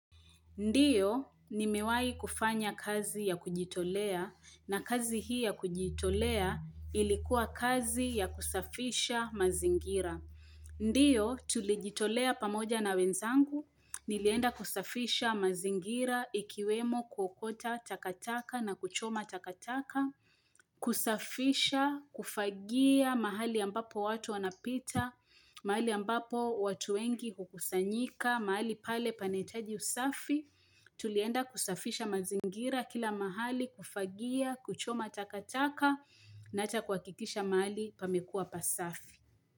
Ndiyo, nimewai kufanya kazi ya kujitolea, na kazi hii ya kujitolea ilikuwa kazi ya kusafisha mazingira. Ndiyo, tulijitolea pamoja na wenzangu, nilienda kusafisha mazingira, ikiwemo kuokota takataka na kuchoma takataka. Kusafisha, kufagia mahali ambapo watu wanapita mahali ambapo watu wengi hukusanyika mahali pale panahitaji usafi tulienda kusafisha mazingira kila mahali kufagia, kuchoma takataka na ata kuhakikisha mahali pamekua pasafi.